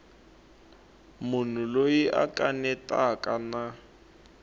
munhu loyi a kanetaka na